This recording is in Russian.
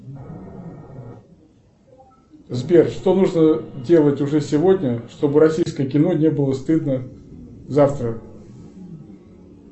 сбер что нужно делать уже сегодня чтобы российское кино не было стыдно завтра